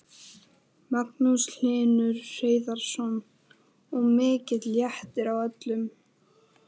Magnús Hlynur Hreiðarsson: Og mikill léttir á öllum?